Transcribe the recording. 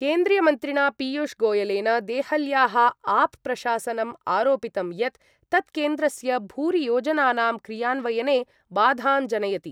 केन्द्रीयमन्त्रिणा पीयूषगोयलेन देहल्याः आप् प्रशासनम् आरोपितं यत् तत् केन्द्रस्य भूरियोजनानां क्रियान्वयने बाधां जनयति।